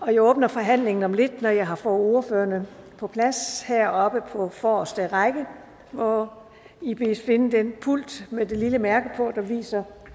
jeg åbner forhandlingen om lidt når jeg har ordførererne på plads heroppe på forreste række hvor i bedes finde den pult med det lille mærke på der viser